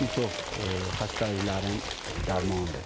Bir çox xəstəliklərin dərmanıdır.